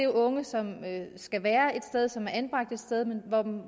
unge som skal være et sted som er anbragt et sted men